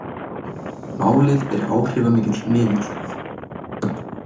Málið er áhrifamikill miðill